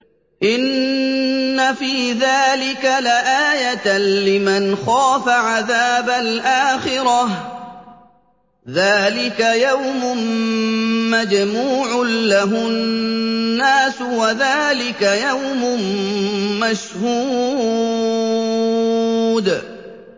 إِنَّ فِي ذَٰلِكَ لَآيَةً لِّمَنْ خَافَ عَذَابَ الْآخِرَةِ ۚ ذَٰلِكَ يَوْمٌ مَّجْمُوعٌ لَّهُ النَّاسُ وَذَٰلِكَ يَوْمٌ مَّشْهُودٌ